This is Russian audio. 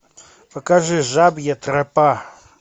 покажи жабья тропа